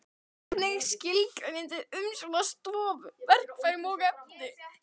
Hvernig skilgreinið þið umsjón með stofu, verkfærum og efni?